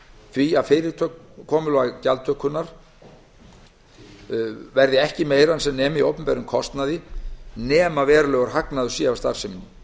því að gjaldtakan verði ekki verður meiri en sem nemur opinberum kostnaði nema verulegur hagnaður sé af starfseminni